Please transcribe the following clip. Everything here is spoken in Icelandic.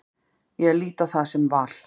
Ég lít á það sem val.